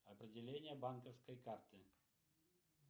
определение банковской карты